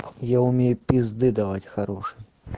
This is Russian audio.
я умею пизды давать хорошей